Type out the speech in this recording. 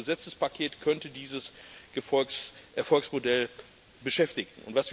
Aber dieses Gesetzespaket könnte dieses Erfolgsmodell beschädigen.